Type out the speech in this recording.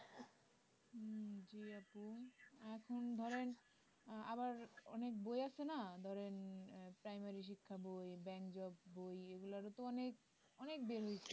উম জি আপু এখন ধরেন আহ আবার অনেক বই আছে না ধরেন প্রাইমারী শিক্ষা বই ব্যাংক job বই এগুলার ও তো অনেক অনেক বের হইসে